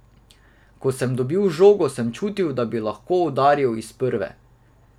Ko sem dobil žogo, sem čutil, da bi lahko udaril iz prve.